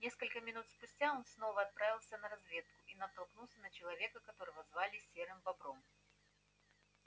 несколько минут спустя он снова отправился на разведку и натолкнулся на человека которого звали серым бобром